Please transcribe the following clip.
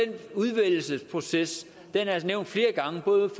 udvidelsesproces er det altså nævnt flere gange både